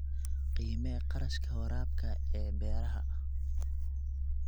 Qiimee kharashka waraabka ee beeraha.